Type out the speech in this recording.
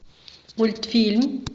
мультфильм